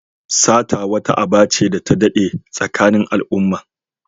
Sata wata aba ce da ta daɗe tsakanin al'umma.